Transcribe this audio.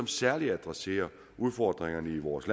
særligt adresserer udfordringerne i vores